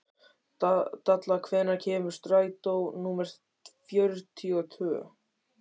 Dalla, hvenær kemur strætó númer fjörutíu og tvö?